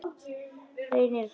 Reynir áfram.